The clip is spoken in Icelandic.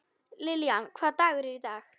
Lillian, hvaða dagur er í dag?